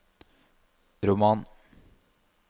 roman